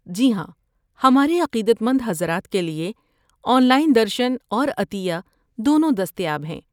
جی ہاں، ہمارے عقیدت مند حضرات کے لیے آن لائن درشن اور عطیہ دونوں دستیاب ہیں۔